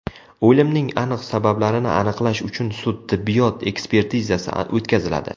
O‘limning aniq sabablarini aniqlash uchun sud-tibbiyot ekspertizasi o‘tkaziladi.